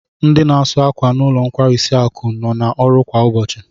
Ndi n'asu ákwà n'ulo nkwarisi akụ no na oru kwa ubochi